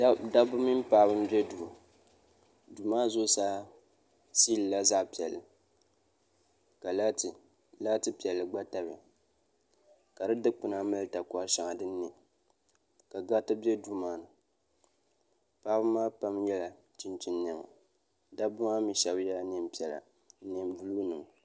Dabba mini paɣaba n bɛ duu duu maa zuɣusaa siili la zaɣi piɛlli ka laati piɛlli gba tamiya ka di dukpuna mali takɔriti shɛŋa dini nɛ ka gariti bɛ duu maa ni paɣaba maa pam yela chinchini nɛma dabba ŋɔ mi shɛba yela nɛma piɛlla ni nɛma buluu ni ma.